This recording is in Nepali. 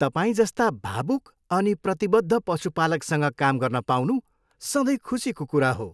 तपाईँजस्ता भावुक अनि प्रतिबद्ध पशुपालकसँग काम गर्न पाउनु सधैँ खुसीको कुरा हो।